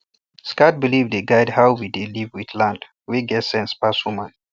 sacred belief dey guide how we dey live with land wey get sense pass human